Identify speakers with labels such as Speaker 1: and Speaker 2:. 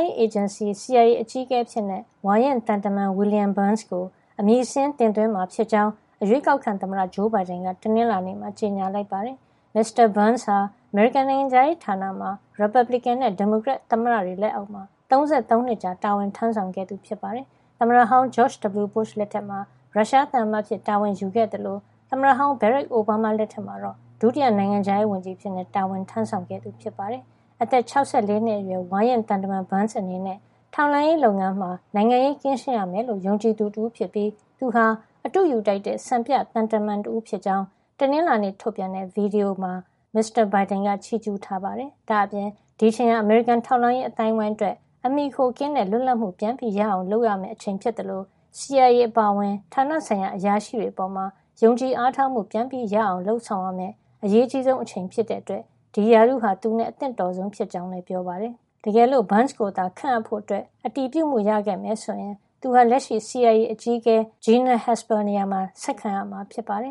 Speaker 1: င်စီ CIA အကြီးအကဲအဖြစ် ဝါရင့်သံတမန် William Burns ကို အမည်စာရင်းတင်သွင်းမှာ ဖြစ်ကြောင်း အရွေးကောက်ခံသမ္မတ ဂျိုးဘိုင်ဒန်က တနင်္လာနေ့မှာ ကြေညာလိုက်ပါတယ်။ မစ္စတာ Burns ဟာ အမေရိကန်နိုင်ငံခြားရေးဌာနမှာ ရီပတ်ဘလစ်ကင်နဲ့ ဒီမိုကရက် သမ္မတတွေလက်အောက်မှာ ၃၃ နှစ်ကြာ တာဝန်ထမ်းဆောင်ခဲ့သူ ဖြစ်ပါတယ်။ သမ္မတဟောင်း George W. Bush လက်ထက်မှာ ရုရှားသံအမတ်အဖြစ်တာဝန်ယူခဲ့သလို သမ္မတဟောင်း Barack Obama လက်ထက်မှာတော့ ဒုတိယနိုင်ငံခြားရေးဝန်ကြီးအဖြစ် တာဝန်ထမ်းဆောင်ခဲ့တာပါ။ အသက် ၆၄ နှစ်အရွယ် ဝါရင့်သံတမန် Burns အနေနဲ့ ထောက်လှမ်းရေးလုပ်ငန်းမှာ နိုင်ငံရေးကင်းရှင်းရမယ်လို့ ယုံကြည်သူတဦးဖြစ်ပြီး သူဟာ အတုယူထိုက်တဲ့ စံပြသံတမန်တဦးဖြစ်ကြောင်း တနင်္လာနေ့ ထုတ်ပြန်တဲ့ ဗွီဒီယိုမှ မစ္စတာဘိုင်ဒန်က ချီးကြူးထားပါတယ်။ ဒါ့အပြင် ဒီအချိန်ဟာ အမေရိကန် ထောက်လှမ်းရေး အသိုင်းဝိုင်းအတွက် အမှီအခိုကင်းတဲ့ လွတ်လပ်မှုပြန်ရအောင် လုပ်ရမယ့် အချိန် ဖြစ်သလို CIA အပါအဝင် ဌာနဆိုင်ရာ အရာရှိတွေ အပေါ် ယုံကြည် အားထားမှု ပြန်ရအောင် လုပ်ဆောင်ရမယ့် အရေးအကြီးဆုံး အချိန် ဖြစ်တဲ့ အတွက် ဒီရာထူးဟာ William Burns နဲ့ အသင့်တော်ဆုံး ဖြစ်ကြောင်း လည်း ပြောပါတယ်။ တကယ်လို့ Burns ကိုခန့်ဖို့ အတည်ပြုမှု ရခဲ့မယ်ဆိုရင် သူဟာ လက်ရှိ CIA အကြီးအကဲ Gina
Speaker 2: Haspel နေရာမှာ ဆက်ခံရမှာ ဖြစ်ပါတယ်